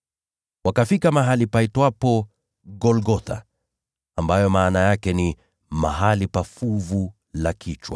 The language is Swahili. Wakafika mahali palipoitwa Golgotha (maana yake ni Mahali pa Fuvu la Kichwa).